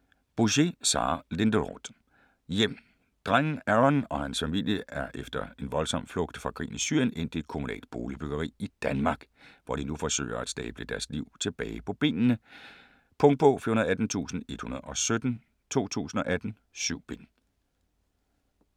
Bouchet, Sara Linderoth: Hjem Drengen Aron og hans familie er efter en voldsom flugt fra krigen i Syrien endt i et kommunalt boligbyggeri i Danmark, hvor de nu forsøger at stable deres liv tilbage på benene. Punktbog 418117 2018. 7 bind.